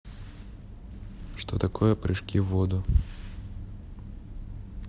что такое прыжки в воду